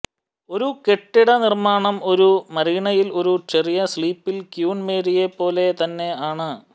ഒരു കെട്ടിട നിർമ്മാണം ഒരു മരീനയിൽ ഒരു ചെറിയ സ്ലിപ്പിൽ ക്യൂൻ മേരിയെപ്പോലെ തന്നെ ആണ്